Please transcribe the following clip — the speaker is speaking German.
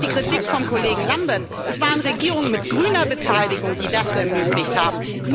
Auf die Kritik des Kollegen Lamberts Es waren Regierungen mit grüner Beteiligung, die das ermöglicht haben.